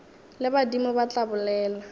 le badimo ba tla bolela